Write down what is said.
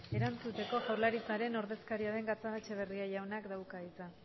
erantzuteko jaurlaritzaren ordezkaria den gatxagaetxebarri jaunak dauka hitza